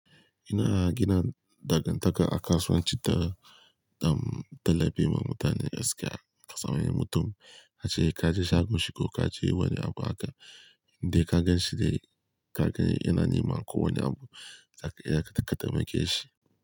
Ina gina dangantaka a kasuwanci ta dam talebe ma mutane gaskiya. Ka san wani mutum, ka ce ka je shagon shi ko ka je wani abu haka, indai ka gan shi dai ka ga yana neman ko wani abu, zaka iya ka taimake shi.